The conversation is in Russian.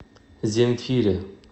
земфире